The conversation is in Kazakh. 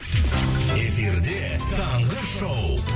эфирде таңғы шоу